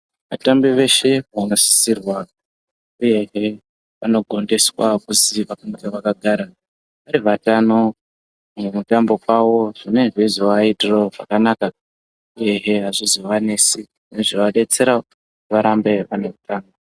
Vatambi veshe vanosisirwa uyehe vanogondiswa kuzi vange vakagara vari vatano mukutamba kwawo zvine zveizoaitirawo zvakanaka uyehe azvizoanesi zvinoadetserawo kuti varambe vane utano.